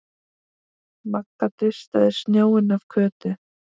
Magga dustaði snjóinn af Kötu.